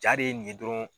Jaa de ye nin ye dɔrɔn